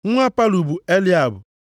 Nwa Palu bụ Eliab,